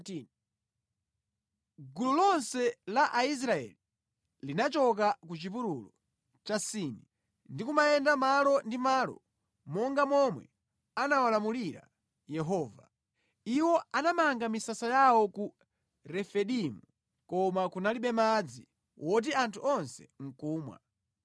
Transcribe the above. Gulu lonse la Aisraeli linachoka ku chipululu cha Sini, ndi kumayenda malo ndi malo monga momwe anawalamulira Yehova. Iwo anamanga misasa yawo ku Refidimu koma kunalibe madzi woti anthu onse ndi kumwa.